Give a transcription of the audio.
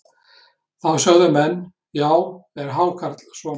Þá sögðu menn: Já, er hákarl svona?